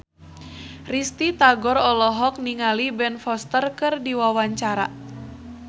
Risty Tagor olohok ningali Ben Foster keur diwawancara